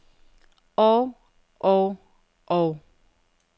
og og og